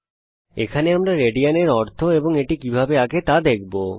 এই পাঠে আমরা বুঝব যে রেডিয়ান এর অর্থ কি এবং রেডিয়ান কিভাবে আঁকব